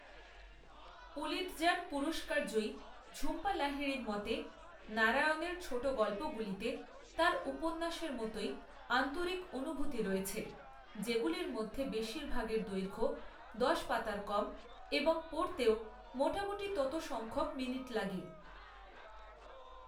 Pulitzer পুরস্কারজয়ী ঝুম্পা লাহিড়ির মতে, নারায়ণের ছোটগল্পগুলিতে তাঁর উপন্যাসের মতোই আন্তরিক অনুভূতি রয়েছে যেগুলির মধ্যে বেশীরভাগের দৈর্ঘ্য দশ পাতার কম এবং পড়তেও মোটামুটি তত সংখ্যক মিনিট লাগে।